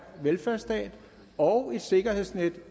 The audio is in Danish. velfærdsstat og et sikkerhedsnet